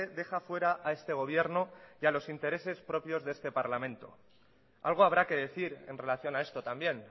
deja fuera a este gobierno y a los intereses propios de este parlamento algo habrá que decir en relación a esto también